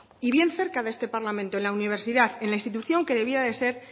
y bien cerca de este parlamento en la universidad en la institución que debía de ser